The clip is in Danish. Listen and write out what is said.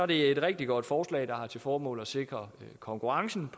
det et rigtig godt forslag der har til formål at sikre konkurrencen